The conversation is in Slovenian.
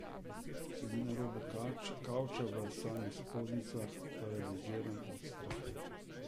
Sedim na robu kavča, v samih spodnjicah, paraliziran od strahu.